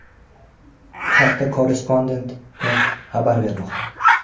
Bu haqda Korrespondent.net xabar bermoqda .